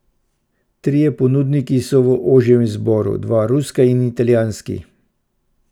Trije ponudniki so v ožjem izboru, dva ruska in italijanski.